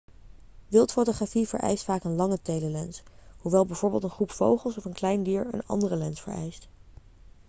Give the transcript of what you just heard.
wildfotografie vereist vaak een lange telelens hoewel bijvoorbeeld een groep vogels of een klein dier een andere lens vereist